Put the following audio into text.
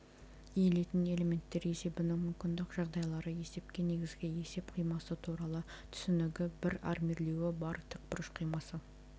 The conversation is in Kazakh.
иілетін элементтер есебінің мүмкіндік жағдайлары есепке негізгі есеп қимасы туралы түсінігі бір армирлеуі бар тікбұрыш қимасы